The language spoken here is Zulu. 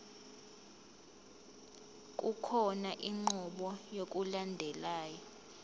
kukhona inqubo yokulandelayo